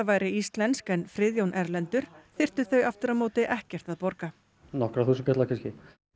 væri íslensk en Friðjón erlendur þyrftu þau aftur á móti ekkert að borga nokkra þúsundkalla kannski